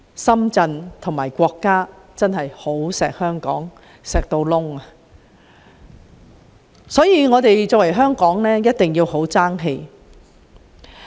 深圳和國家真的非常疼惜香港，所以香港一定要爭氣。